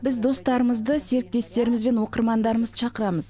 біз достарымызды серіктестеріміз бен оқырмандарымызды шақырамыз